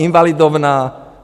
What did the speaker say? Invalidovna?